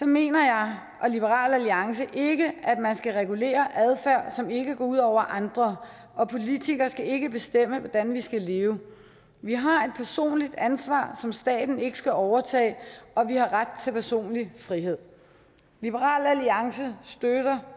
mener jeg og liberal alliance ikke at man skal regulere adfærd som ikke går ud over andre og politikere skal ikke bestemme hvordan vi skal leve vi har et personligt ansvar som staten ikke skal overtage og vi har ret til personlig frihed liberal alliance støtter